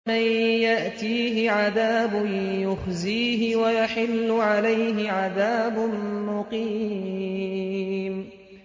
مَن يَأْتِيهِ عَذَابٌ يُخْزِيهِ وَيَحِلُّ عَلَيْهِ عَذَابٌ مُّقِيمٌ